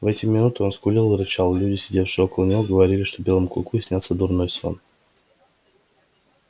в эти минуты он скулил и рычал и люди сидевшие около него говорили что белому клыку снятся дурной сон